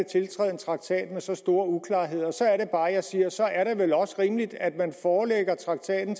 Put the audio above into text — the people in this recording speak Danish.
en traktat med så store uklarheder og så er det bare jeg siger at så er det vel også rimeligt at man forelægger traktaten